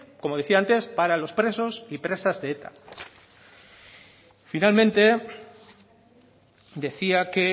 como decía antes para los presos y presas de eta finalmente decía que